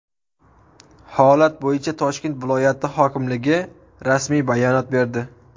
Holat bo‘yicha Toshkent viloyati hokimligi rasmiy bayonot berdi .